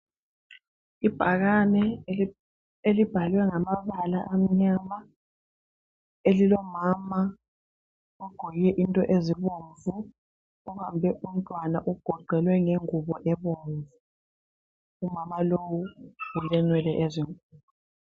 Ibhakane elibhalwe ngamabala amnyama elilomama ogqoke into ezibomvu obambe umntwana ugoqelwe ngengubo ebomvu. Umama lowu ulenwele ezinkulu.